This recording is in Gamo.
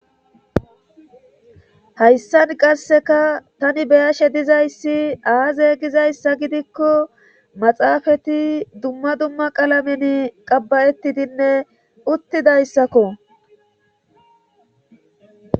hayssan qasseka tani beyashe dizayssi aaze gizayssa gidikko maxaafati dumma dumma qalamen qabbayettidinne uttidayssakko